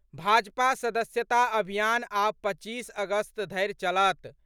भाजपाक सदस्यता अभियान आब पच्चीस अगस्त धरि चलत।